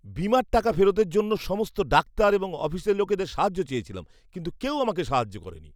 বীমার টাকা ফেরতের জন্য সমস্ত ডাক্তার এবং অফিসের লোকেদের সাহায্য চেয়েছিলাম। কিন্তু কেউ আমাকে সাহায্য করেনি।